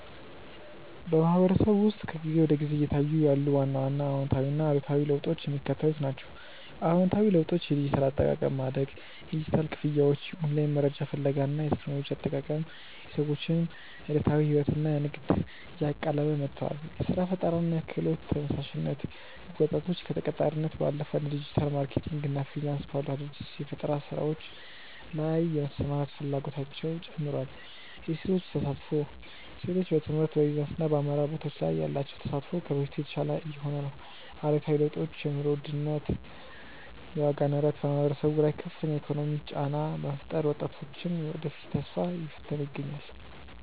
በማህበረሰቡ ውስጥ ከጊዜ ወደ ጊዜ እየታዩ ያሉ ዋና ዋና አዎንታዊና አሉታዊ ለውጦች የሚከተሉት ናቸው፦ አዎንታዊ ለውጦች የዲጂታል አጠቃቀም ማደግ፦ የዲጂታል ክፍያዎች፣ የኦንላይን መረጃ ፍለጋ እና የቴክኖሎጂ አጠቃቀም የሰዎችን ዕለታዊ ሕይወትና ንግድ እያቀለለ መጥቷል። የሥራ ፈጠራና የክህሎት ተነሳሽነት፦ ወጣቶች ከተቀጣሪነት ባለፈ እንደ ዲጂታል ማርኬቲንግ እና ፍሪላንስ ባሉ አዳዲስ የፈጠራ ሥራዎች ላይ የመሰማራት ፍላጎታቸው ጨምሯል። የሴቶች ተሳትፎ፦ ሴቶች በትምህርት፣ በቢዝነስና በአመራር ቦታዎች ላይ ያላቸው ተሳትፎ ከበፊቱ የተሻለ እየሆነ ነው። አሉታዊ ለውጦች የኑሮ ውድነት፦ የዋጋ ንረት በማህበረሰቡ ላይ ከፍተኛ የኢኮኖሚ ጫና በመፍጠሩ የወጣቶችን የወደፊት ተስፋ እየፈተነ ይገኛል።